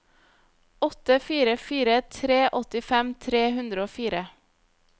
åtte fire fire tre åttifem tre hundre og fire